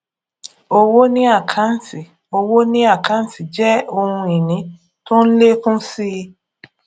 owó ni àkáǹtì owó ni àkáǹtì jẹ ohun ìní tó ń lékún si